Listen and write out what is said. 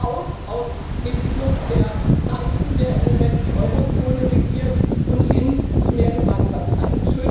raus aus dem Club der Reichen, der im Moment die Eurozone regiert, und hin zu mehr Gemeinsamkeit.